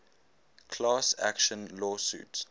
class action lawsuit